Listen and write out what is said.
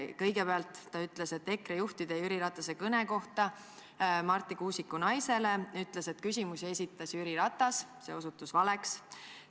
Kõigepealt ütles ta EKRE juhtide telefonikõne kohta, mille nad Marti Kuusiku naisele tegid, et küsimusi esitas Jüri Ratas – see osutus valeks.